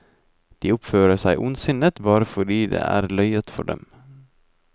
De oppfører seg ondsinnet bare fordi det er løyet for dem.